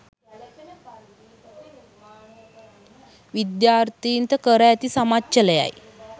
විද්‍යාර්ථීන්ට කර ඇති සමච්චලයයි.